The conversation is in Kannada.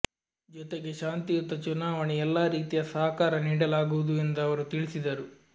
ಜೊತೆಗೆ ಶಾಂತಿಯುತ ಚುನಾವಣೆ ಎಲ್ಲಾ ರೀತಿಯ ಸಹಕಾರ ನೀಡಲಾಗುವುದು ಎಂದು ಅವರು ತಿಳಿಸಿದರು